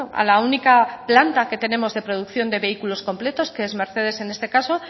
a la única planta que tenemos de producción de vehículos completos que es mercedes en este caso